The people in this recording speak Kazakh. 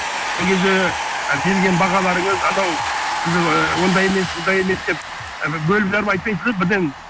сол кезде берген бағаларыңыз анау ондай емес бұндай емес деп ы бөліп жарып айтпайсыз да бірден